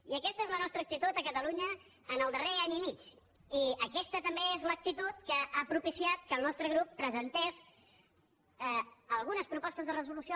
i aquesta és la nostra actitud a catalunya en el darrer any i mig i aquesta també és l’actitud que ha propiciat que el nostre grup presentés alguns propostes de resolució